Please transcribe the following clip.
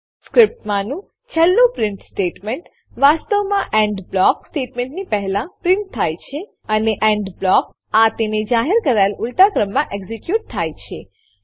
સ્ક્રીપ્ટમાંનું છેલ્લું print statement વાસ્તવમાં end block સ્ટેટમેંટની પહેલા પ્રીંટ થાય છે અને એન્ડ બ્લોક આ તેને જાહેર કરાયેલ ઉલટા ક્રમમાં એક્ઝીક્યુટ થાય છે